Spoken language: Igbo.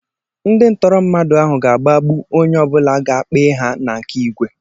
Ndị ntọrọ mmadụ ahụ ga-agbagbu onye ọ bụla ga-kpee ha na nke Igwe.